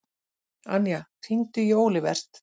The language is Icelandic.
Anja, hringdu í Olivert.